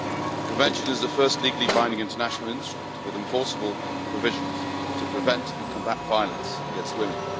The Convention is the first legally binding international instrument with enforceable provisions to prevent and combat violence against women.